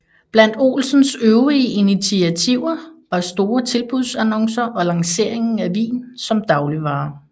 Blandt Olsens øvrige initiativer var store tilbudsannoncer og lanceringen af vin som dagligvare